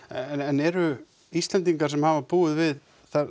en eru Íslendingar sem hafa búið við